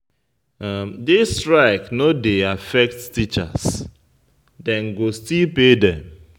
Di strike no dey affect teachers, dem go still pay dem.